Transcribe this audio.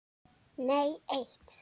Nei eitt.